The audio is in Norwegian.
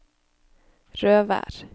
Røvær